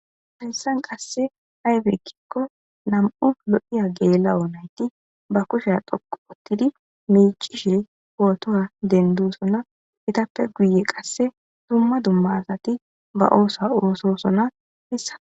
Hayssan qasse haybeekkikko nam7u lo7iya geelawo nayti ba kushea dhoqu ottidi miici shiri pootowa dendusonna itappe guye qasse dumma dumma asati ba oosa oososona hessa.